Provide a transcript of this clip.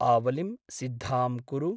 आवलिं सिद्धां कुरु।